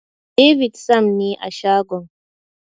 David Sam ne a shagon.